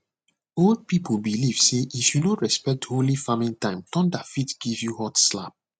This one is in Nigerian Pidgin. old people believe say if you no respect holy farming time thunder fit give you hot slap